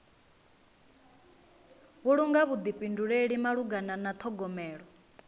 vhulunga vhuḓifhinduleli malugana na ṱhogomelo